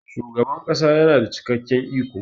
shugaban kasa yana da cikakken iko